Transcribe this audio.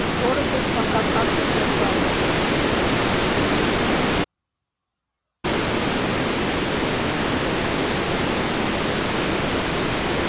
город их пока как-то держал